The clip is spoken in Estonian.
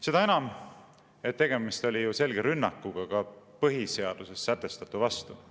Seda enam, et tegemist oli ju selge rünnakuga ka põhiseaduses sätestatu vastu.